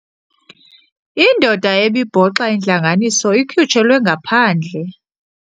Indoda ebibhoxa intlanganiso ikhutshelwe ngaphandle.